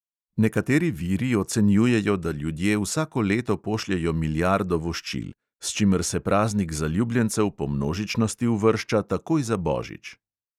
Nekateri viri ocenjujejo, da ljudje vsako leto pošljejo milijardo voščil, s čimer se praznik zaljubljencev po množičnosti uvršča takoj za božič.